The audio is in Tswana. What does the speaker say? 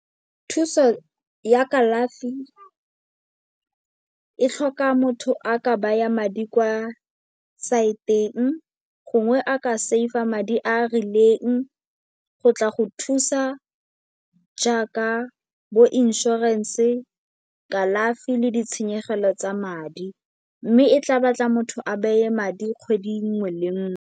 Thuso ya kalafi e tlhoka motho a ka baya madi kwa saeteng gongwe a ka save-a madi a a rileng go tla go thusa jaaka bo inšorense, kalafi le ditshenyegelo tsa madi. Mme e tla batla motho a beye madi kgwedi nngwe le nngwe.